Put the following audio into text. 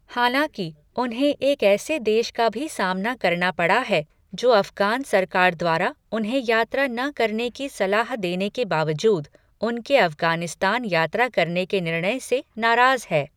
हालाँकि, उन्हें एक ऐसे देश का भी सामना करना पड़ा है, जो अफगान सरकार द्वारा उन्हें यात्रा न करने की सलाह देने के बावजूद, उनके अफगानिस्तान यात्रा करने के निर्णय से नाराज़ है।